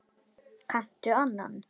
Kanntu annan?